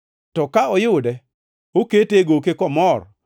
To ka oyude, okete e goke komor